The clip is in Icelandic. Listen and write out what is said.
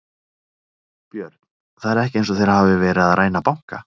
Björn: Það er ekki eins og þeir hafi verið að ræna banka?